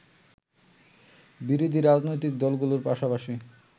বিরোধী রাজনৈতিক দলগুলোর পাশাপাশি